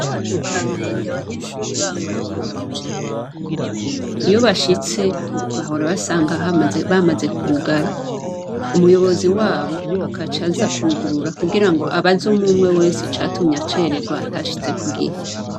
Mu Kamenge abanyeshure baho barakunda gucererwa. Iyo bashitse bahora basanga bamaze kugara. Umuyobozi wabo agaca aza kwugurura kugirango abaze umwumwe wese icatumye acererwa atashitse ku gihe.